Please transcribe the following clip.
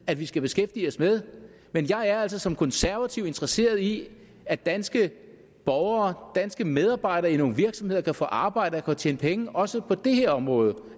at vi skal beskæftige os med men jeg er altså som konservativ interesseret i at danske borgere danske medarbejdere i nogle virksomheder kan få arbejde og tjene penge også på det her område